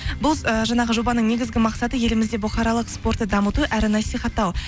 бұл ііі жаңағы жобаның негізгі мақсаты елімізде бұқаралық спортты дамыту әрі насихаттау